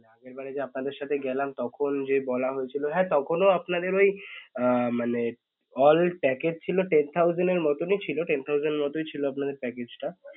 আগেরবারে যে আপনাদের সাথে গেলাম তখন যে বলা হয়েছিল হ্যাঁ তখন ও আপনাদের ওই আহ মানে all package ছিল ten thousand এর মতনই ছিল ten thousand মতই ছিল package টা